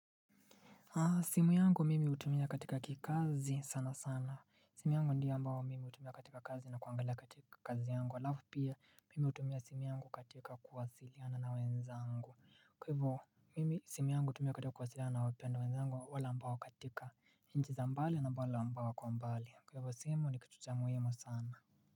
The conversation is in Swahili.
Simu yangu mimi hutumia katika kikazi sana sana. Simu yangu ndio ambao mimi hutumia katika kazi na kuangalia katika kazi yangu alafu pia mimi hutumia simu yangu katika kuwasiliana na wenzangu. Kwa hivyo mimi simu yangu hutumia katika kuwasiliana na wapendwa wenzangu wale ambao katika inchi za mbali na wale ambao wako mbali kwa hivyo simu ni kitu cha muhimu sana.